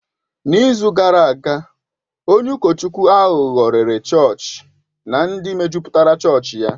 N'izu gara aga, onye ụkọchukwu aghụghọ rèré chọọchị na ndị mejupụtara chọọchị ya.